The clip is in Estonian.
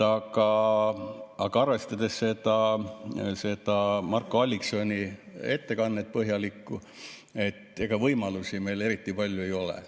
Aga arvestades seda põhjalikku Marko Alliksoni ettekannet, ega võimalusi meil eriti palju ei ole.